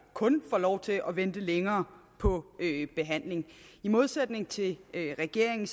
kun får lov til at vente længere på behandling i modsætning til regeringen